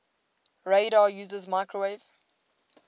radar uses microwave